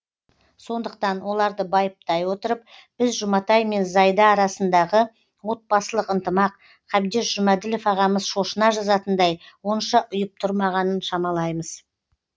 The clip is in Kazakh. сондықтан оларды байыптай отырып біз жұматай мен зайда арасындағы отбасылық ынтымақ қабдеш жұмаділов ағамыз шошына жазатындай онша ұйып тұрмағанын шамалаймыз